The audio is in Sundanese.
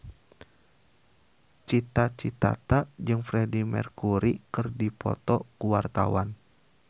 Cita Citata jeung Freedie Mercury keur dipoto ku wartawan